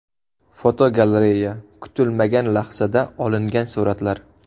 Fotogalereya: Kutilmagan lahzada olingan suratlar.